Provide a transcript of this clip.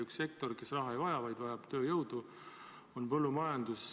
Üks sektor, mis raha ei vaja, vaid vajab tööjõudu, on põllumajandus.